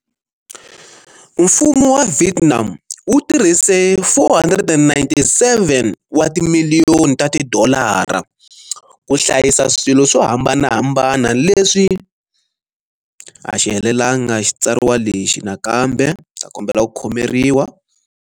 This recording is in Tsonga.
Mfumo wa Vietnam wu tirhise 497 wa timiliyoni ta tidolara ku hlayisa swilo swo hambanahambana leswi a xi helelanga xitsariwa lexi nakambe ndzi ta kombela ku khomeriwa.